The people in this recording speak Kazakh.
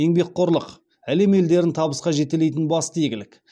еңбекқорлық әлем елдерін табысқа жетелейтін басты игілік